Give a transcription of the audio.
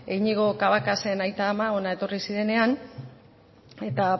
iñigo cabacasen aita ama hona etorri zirenenean eta